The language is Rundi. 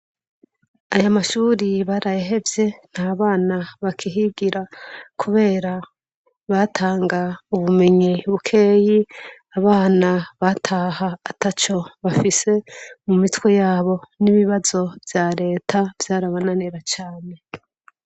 Aya mashuri barayahevye nta bana bakihigira kubera batanga ubumenyi bukeyi abana bataha ataco bafise mu mitwe yabo, n'ibibazo vya reta vyarabananira cane.